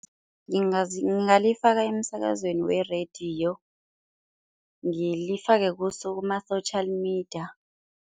Ngingalifaka emsakazweni werediyo, ngilifake kuma-social media.